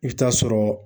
I bɛ taa sɔrɔ